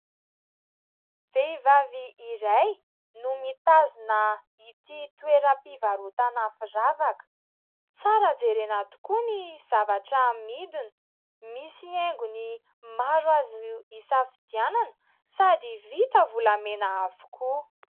Vehivavy iray no mitazona ity toeram-pivarotana firavaka. Tsara jerena tokoa ny zavatra amidiny, misy haingony maro azo isafidianana, sady vita volamena avokoa.